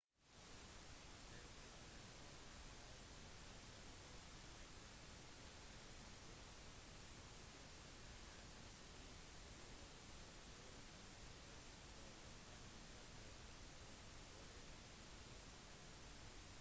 dette er noe man alltid trenger å ha i tankene for å unngå skuffelser eller kanskje til og med få en avstand fra lokale måter å gjøre ting på